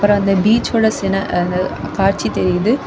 அப்புறம் அந்த பீச்சுக்குள்ள சில அ அந்த காட்சி தெரியுது.